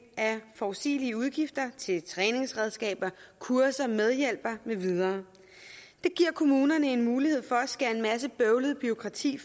af forudsigelige udgifter til træningsredskaber kurser medhjælpere med videre det giver kommunerne en mulighed for at skære en masse bøvlet bureaukrati